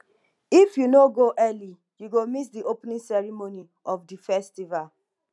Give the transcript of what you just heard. if you no go early you go miss di opening ceremony of di festival